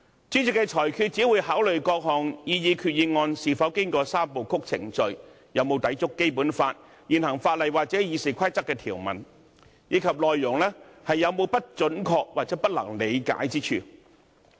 主席作出裁決時只會考慮各項擬議決議案是否經過"三部曲"程序，有否抵觸《基本法》、現行法例或《議事規則》的條文，以及內容有否不準確或不能理解之處。